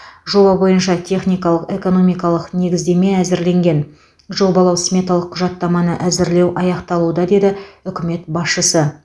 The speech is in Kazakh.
жоба бойынша техникалық экономикалық негіздеме әзірленген жобалау сметалық құжаттаманы әзірлеу аяқталуда деді үкімет басшысы